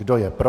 Kdo je pro?